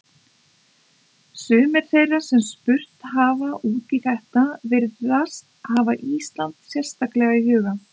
Sumir þeirra sem spurt hafa út í þetta virðast hafa Ísland sérstaklega í huga.